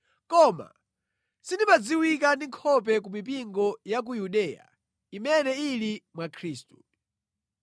Koma sindimadziwika ndi nkhope ku mipingo ya ku Yudeya imene ili mwa Khristu.